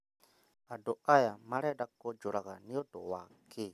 Andu aya marenda kũnjũraga nĩũndũ wakĩĩ?